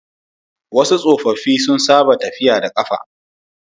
wasu tsofaffi sun saba tafiya da kafa